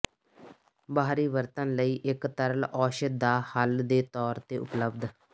ਬਾਹਰੀ ਵਰਤਣ ਲਈ ਇੱਕ ਤਰਲ ਔਸ਼ਧ ਦਾ ਹੱਲ ਦੇ ਤੌਰ ਤੇ ਉਪਲਬਧ